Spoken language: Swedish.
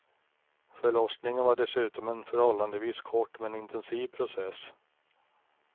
Förlossningen var dessutom en förhållandevis kort men intensiv process.